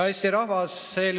Hea Eesti rahvas!